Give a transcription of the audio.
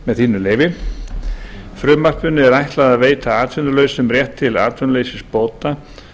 með leyfi forseta frumvarpinu er ætlað að veita atvinnulausum rétt til atvinnuleysisbóta